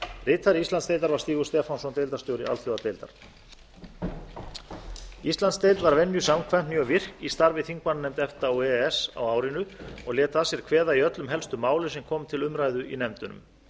ritari íslandsdeildar var stígur stefánsson deildarstjóri alþjóðadeildar íslandsdeild var venju samkvæmt mjög virk í starfi þingmannanefnda efta og e e s á árinu og lét að sér kveða í öllum helstu málum sem komu til umræðu í nefndunum